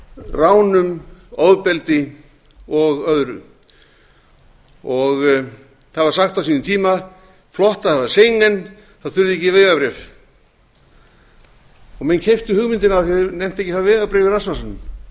ránum ofbeldi og öðru það var sagt á sínum tíma flott að hafa schengen þá þurfum við ekki vegabréf menn keyptu hugmyndina af því að þeir nenntu ekki að hafa vegabréf í rassvasanum en hver einn